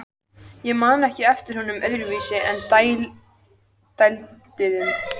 Ég man ekki eftir honum öðruvísi en dælduðum.